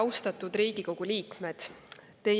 Austatud Riigikogu liikmed!